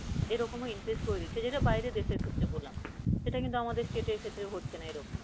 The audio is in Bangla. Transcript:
এরকম increase করে দিচ্ছে যেটা বাইরের দেশের ক্ষেত্রে বললাম, সেটা কিন্তু আমাদের state এর ক্ষেত্রে হচ্ছে না।